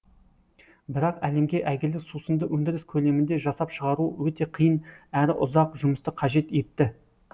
бірақ әлемге әйгілі сусынды өндіріс көлемінде жасап шығару өте қиын әрі ұзақ жұмысты қажет етті